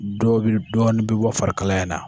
Dɔ dɔɔnin bi bɔ farikaliya in na.